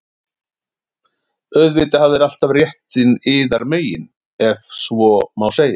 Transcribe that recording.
Auðvitað hafið þér alltaf réttinn yðar megin,- ef svo má segja.